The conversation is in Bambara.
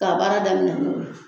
Ka baara daminɛ n'o ye